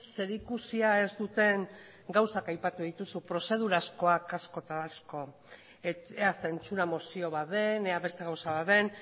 zerikusia ez duten gauzak aipatu dituzu prozedurazkoak asko eta asko ea zentzura mozio bat den ea beste gauza bat den